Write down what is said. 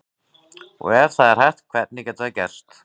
Og ef það er hægt, hvernig getur það gerst?